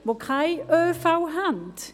das wurde ja gesagt.